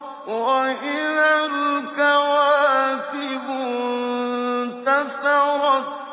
وَإِذَا الْكَوَاكِبُ انتَثَرَتْ